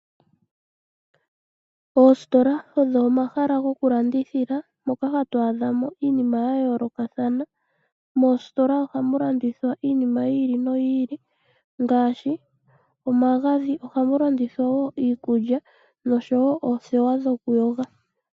Oositola odho omahala gokulandithila moka hatu adha mo iinima ya yoolokathana. Moositola oha mu landithwa iinima yi ili noyi ili ngaashi omagadhi. Oha mu landithwa wo iikulya noshowo othewa dhoku yoga.